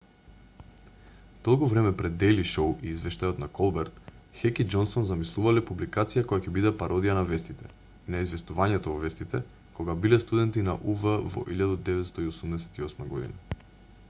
долго време пред дејли шоу и извештајот на колберт хек и џонсон замислувале публикација која ќе биде пародија на вестите и на известувањето во вестите кога биле студенти на ув во 1988 година